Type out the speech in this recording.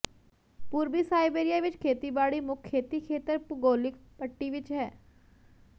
ਪੂਰਬੀ ਸਾਇਬੇਰੀਆ ਵਿਚ ਖੇਤੀਬਾੜੀ ਮੁੱਖ ਖੇਤੀ ਖੇਤਰ ਭੂਗੋਲਿਕ ਪੱਟੀ ਵਿੱਚ ਹੈ